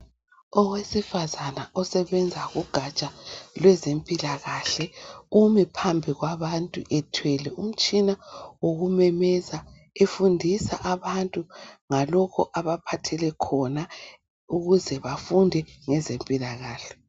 Owesifazana osebenza kugatsha lwezempilakahle umi phambi kwabantu ethwele umtshina wokumemeza efundisa abantu ngalokho abaphathele khona ukuze bafunde ngezempilakahle.